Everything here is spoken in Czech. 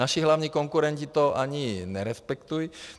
Naši hlavní konkurenti to ani nerespektují.